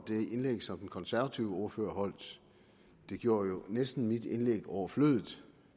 indlæg som den konservative ordfører holdt det gjorde jo næsten mit indlæg overflødigt